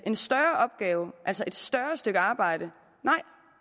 en større opgave altså et større stykke arbejde